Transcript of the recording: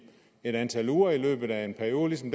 et antal uger i løbet af en periode som